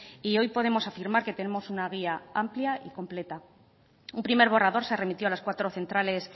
y hoy podemos afirmar que tenemos una guía amplia y completa un primer borrador se remitió a las cuatro centrales